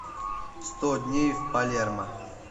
сто дней в палермо